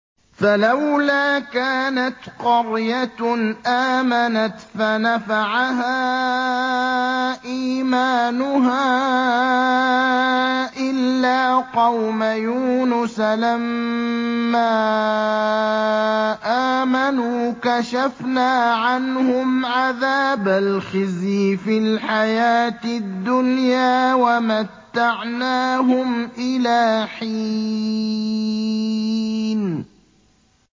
فَلَوْلَا كَانَتْ قَرْيَةٌ آمَنَتْ فَنَفَعَهَا إِيمَانُهَا إِلَّا قَوْمَ يُونُسَ لَمَّا آمَنُوا كَشَفْنَا عَنْهُمْ عَذَابَ الْخِزْيِ فِي الْحَيَاةِ الدُّنْيَا وَمَتَّعْنَاهُمْ إِلَىٰ حِينٍ